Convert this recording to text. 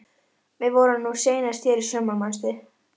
Við vorum nú seinast hér í sumar, manstu?